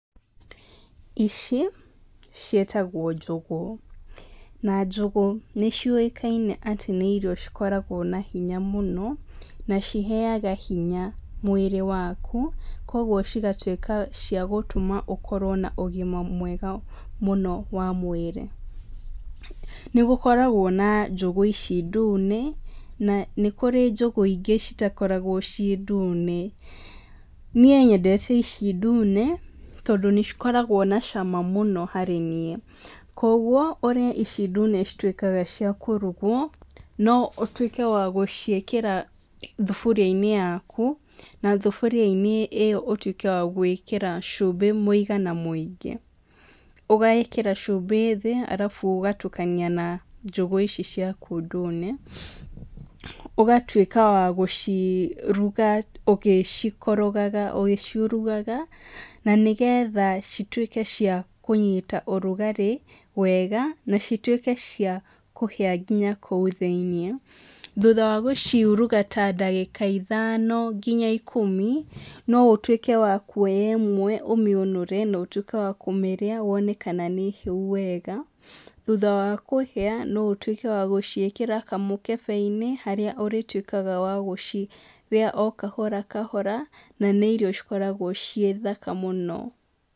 Ici, ciĩtagwo njũgũ. Na njũgũ nĩ ciũĩkaine atĩ nĩ irio cikoragwo na hinya mũno, na ciheaga hinya mwĩrĩ waku. Kũguo cigatuĩka ciagũtũma ũkorwo na ũgima mwega mũno wa mwĩrĩ. Nĩ gũkoragwo na njũgũ ici ndune, na nĩ kũrĩ njũgũ ingĩ citakoragwo ciĩ ndune. Niĩ nyendete ici ndune, tondũ nĩ cikoragwo na cama mũno harĩ niĩ. Koguo, ũrĩa ici ndune cituĩkaga cia kũrugwo, no ũtuĩke wa gũciĩkĩra thuburia-inĩ yaku, na thuburia-inĩ ĩyo ũtuĩke wa gwĩkĩra cumbĩ mũigana mũingĩ. Ũgaĩkĩra cumbĩ thĩ, arabu ũgatukania na njũgũ ici ciaku ndune. Ũgatuĩka wa gũciruga ũgĩcikorogaga ũgĩciurugaga, na nĩgetha cituĩke cia kũnyita ũrugarĩ wega, na cituĩke cia kũhĩa nginya kũu thĩiniĩ. Thutha wa gũciuruga ta ndagĩka ithano nginya ikũmi, no ũtuĩke wa kuoya ĩmwe, ũmĩũnũre, na ũtuĩke wa kũmĩrĩa, wone kana nĩ hĩu wega. Thutha wa kũhĩa, no ũtuĩke wa gũciĩkĩra kamũkebe-inĩ harĩa ũrĩtuĩkaga wa gũcirĩa o kahora kahora, na nĩ irio cikoragwo ciĩ thaka mũno.